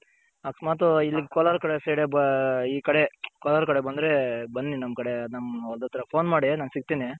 ಅಕಸ್ಮಾತ್ ಇಲ್ಲಿ ಕೊಲಾರ್ ಕಡೆ side ಬಾ ಇ ಕಡೆ ಕೋಲಾರ್ ಕಡೆ ಬಂದ್ರೆ ಬನ್ನಿ ನಮ್ ಕಡೆ ನಮ್ ಹೊಲ್ದತ್ರ phone ಮಾಡಿ ನಾನ್ ಸಿಕ್ತೀನಿ.